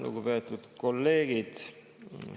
Lugupeetud kolleegid!